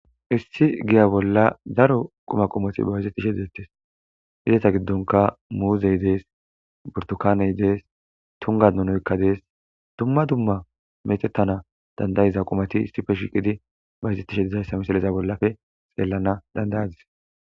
issi giya bolla daro quma qomoti bayizettishe dettes izeta giddonka muuzey dees burtokaaney dees tunga donoykka dees dumma dumma metettana dandayiza qumati isife shiqidi bayizettishe dizayssa misaleza bollafe xeelana danda'adis